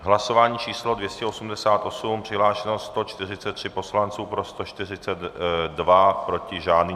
Hlasování číslo 288, přihlášeno 143 poslanců, pro 142, proti žádný.